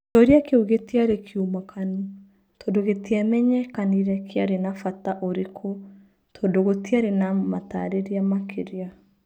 Kĩũria kĩu gĩtiarĩ kiumũkanu tondũgĩtiamenyekanire kĩarĩ na bata ũrĩkũtondũgĩtiarĩ na matarĩria makĩria.